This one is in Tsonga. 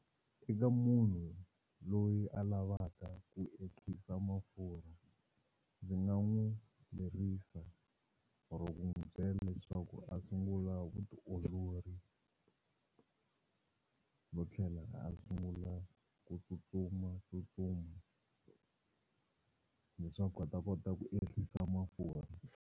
Eka munhu loyi a lavaka ku ehlisa mafurha ndzi nga n'wu lerisa or-o ku n'wu byela leswaku a sungula vutiolori no tlhela a sungula ku tsutsumatsutsuma leswaku a ta kota ku ehlisa mafurha.